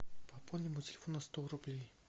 пополни мой телефон на сто рублей